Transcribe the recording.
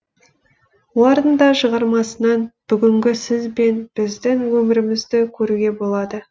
олардың да шығармасынан бүгінгі сіз бен біздің өмірімізді көруге болады